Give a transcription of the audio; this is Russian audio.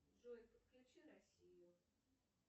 джой подключи россию